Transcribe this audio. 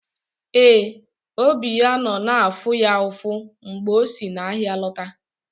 Ee, obi ya nọ na-afụ ya ụfụ mgbe o si n’ahịa lọta.